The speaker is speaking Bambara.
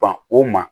Ban o ma